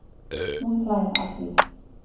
Hún hlær að því.